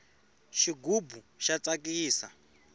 xigubu xa tsakisa